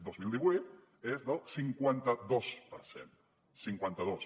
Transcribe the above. dos mil divuit és del cinquanta dos per cent cinquanta dos